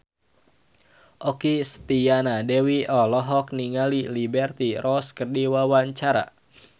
Okky Setiana Dewi olohok ningali Liberty Ross keur diwawancara